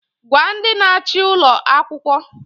Gwa ndị na-achị ụlọ akwụkwọ!